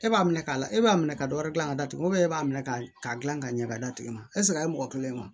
E b'a minɛ k'a la e b'a minɛ ka dɔ wɛrɛ dilan ka datugu e b'a minɛ k'a dilan ka ɲɛ k'a d'a tigi ma a ye mɔgɔ kelen bɔ